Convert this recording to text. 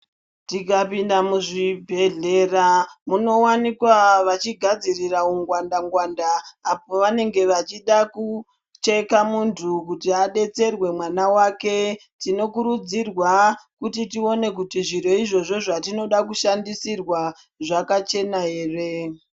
Tikapinda mu zvibhedhlera muno wanikwa vachi gadzirira ungwanda ngwanda apo vanenge vachida kucheka muntu kuti adetserwe mwana wake tino kurudzirwa kuti tione zviro izvozvo zvatinoda ku shandisirwa zvaka chena ere.